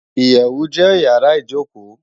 Iyèwú jè iyàrá ijókó